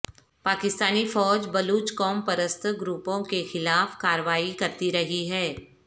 پاکستانی فوج بلوچ قوم پرست گروپوں کے خلاف کارروائی کرتی رہی ہے